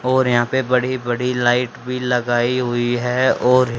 और यहां पे बड़ी बड़ी लाइट भी लगाई हुई है और--